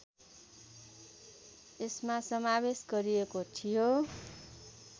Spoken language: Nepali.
यसमा समावेश गरिएको थियो